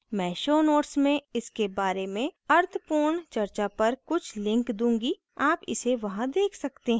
मैं show notes में इसके बारे में अर्थपूर्ण चर्चा पर कुछ links दूंगी आप इसे वहाँ देख सकते हैं